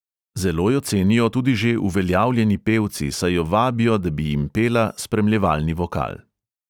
Zelo jo cenijo tudi že uveljavljeni pevci, saj jo vabijo, da bi jim pela spremljevalni vokal.